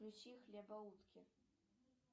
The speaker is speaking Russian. включи хлебоутки